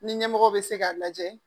Ni ɲɛmɔgɔ bɛ se k'a lajɛ